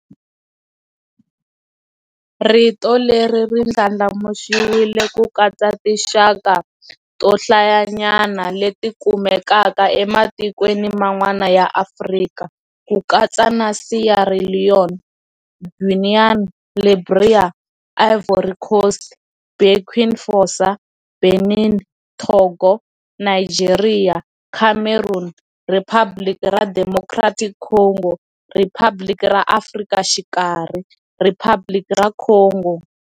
Rito leri ri ndlandlamuxiwile ku katsa tinxaka to hlayanyana leti kumekaka ematikweni man'wana ya Afrika, ku katsa na Sierra Leone, Guinea, Liberia, Ivory Coast, Burkina Faso, Benin, Togo, Nigeria, Cameroon, Riphabliki ra Democratic Congo, Riphabliki ra Afrika Xikarhi, Riphabliki ra Congo,